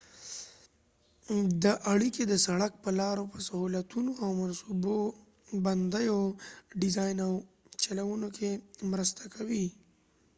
دا اړیکي د سړک په لارو په سهولتونو د منصوبه بندیو ډیزاین او چلونو کې مرسته کوي